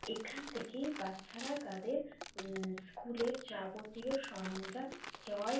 এখান থেকেই বাচ্চারা তাদের উম স্কুল এর যাবতীয় সরঞ্জাম ক্রয়।